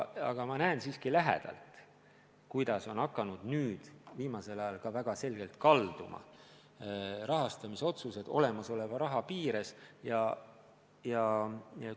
Aga ma näen siiski lähedalt, kuidas viimasel ajal on rahastamisotsused olemasoleva raha piires kalduma hakanud.